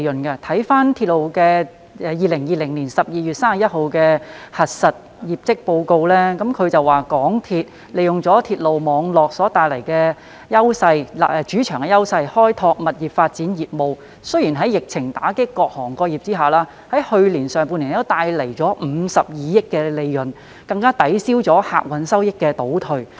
根據港鐵公司截至2020年12月31日止年度的經審核業績公告，港鐵公司利用鐵路網絡所帶來的主場優勢開拓物業發展業務，雖然在疫情打擊各行各業下，在去年上半年帶來52億元的利潤，更抵銷了客運業務的收益倒退。